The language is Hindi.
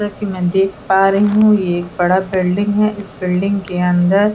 जैसा कि मैं देख पा रही हु ये एक बड़ा बिल्डिंग है इस बिल्डिंग के अंदर--